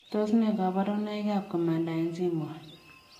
Tos nee kabarunoik ap komandae chii moet ?